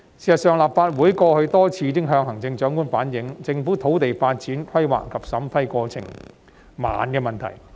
事實上，立法會過去已多次向行政長官反映，政府土地發展規劃及審批過程緩慢。